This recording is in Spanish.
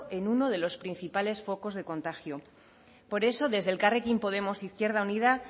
en uno de los principales focos de contagio por eso desde elkarrekin podemos izquierda unida